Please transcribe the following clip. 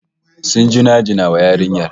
Sun jinjina wa yarinyar